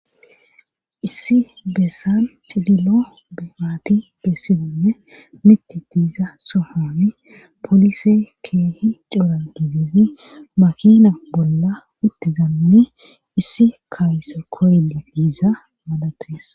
Issi beessan cililo maati bessisanne miti diiza sohoni polise keehi coora giddidi makina bolla uttidanne issi kaayso koyidi diiza maalates.